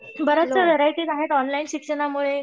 बऱ्याच व्हरायटी आहेत ऑनलाईन शिक्षणामुळेच